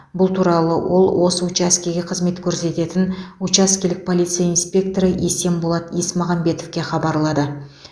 бұл туралы ол осы учаскеге қызмет көрсететін учаскелік полиция инспекторы есенболат есмағамбетовке хабарлады